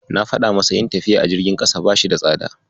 Na faɗa masa yin tafiya a jirgin ƙasa bashi da tsada.